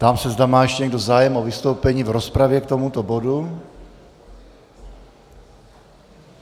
Ptám se, zda má ještě někdo zájem o vystoupení v rozpravě k tomuto bodu.